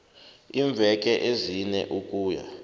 iimveke ezine ukuya